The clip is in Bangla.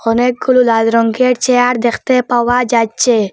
অনেকগুলো লাল রঙ্গের চেয়ার দেখতে পাওয়া যাচ্ছে।